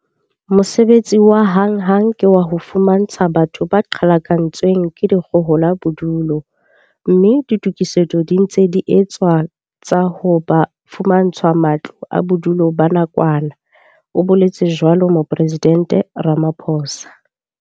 Mosebetsi wa hanghang ke wa ho fumantsha batho ba qhalakantswe ng ke dikgohola bodulo, mme ditokisetso di ntse di etswa tsa hore ba fumantshwe matlo a bodulo ba nakwana, o boletse jwalo Mopresidente Ramaphosa.